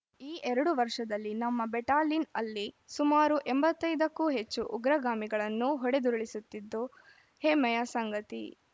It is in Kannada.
ಈ ಎರಡು ವರ್ಷದಲ್ಲಿ ನಮ್ಮ ಬೆಟಾಲಿನ್‌ ಅಲ್ಲಿ ಸುಮಾರು ಎಂಬತ್ತ್ ಐದಕ್ಕೂ ಹೆಚ್ಚು ಉಗ್ರಗಾಮಿಗಳನ್ನು ಹೊಡೆದುರುಳಿಸುತ್ತಿದ್ದು ಹೆಮ್ಮೆಯ ಸಂಗತಿ